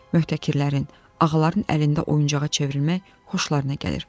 Möhtəkirlərin, ağaların əlində oyuncağa çevrilmək xoşlarına gəlir.